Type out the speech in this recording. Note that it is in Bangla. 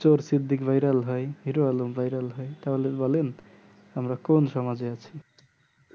চোর সিদ্দিক viral হয় হিরো আলম viral হয় তাহলে বলেন আমরা কোন সমাজে আছি